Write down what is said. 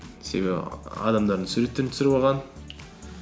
себебі адамдардың суреттерін түсіріп алған